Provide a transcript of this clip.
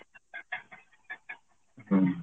ହୁଁ